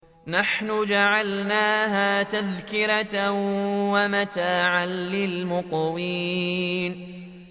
نَحْنُ جَعَلْنَاهَا تَذْكِرَةً وَمَتَاعًا لِّلْمُقْوِينَ